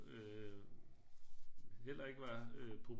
Øh heller ikke være øh